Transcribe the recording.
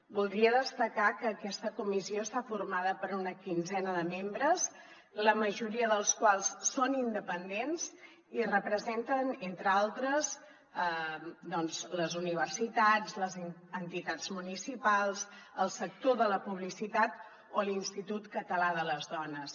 voldria destacar que aquesta comissió està formada per una quinzena de membres la majoria dels quals són independents i representen entre d’altres doncs les universitats les entitats municipals el sector de la publicitat o l’institut català de les dones